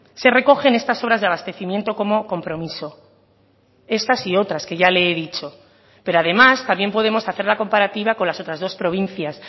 se recogen estas obras de abastecimiento como compromiso estas y otras que ya le he dicho pero además también podemos hacer la comparativa con las otras dos provincias